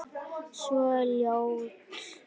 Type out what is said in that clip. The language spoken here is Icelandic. Svo ljótt.